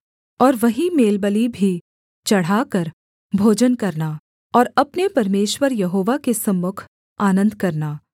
और वहीं मेलबलि भी चढ़ाकर भोजन करना और अपने परमेश्वर यहोवा के सम्मुख आनन्द करना